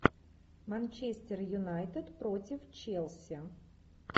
манчестер юнайтед против челси